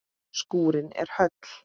Skúrinn er höll.